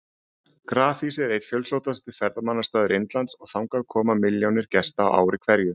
Grafhýsið er einn fjölsóttasti ferðamannastaður Indlands og þangað koma milljónir gesta á ári hverju.